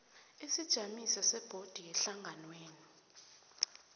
isijamiso sebhodi yehlanganwenu